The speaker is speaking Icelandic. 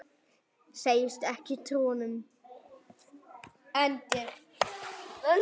Segist ekki trúa honum.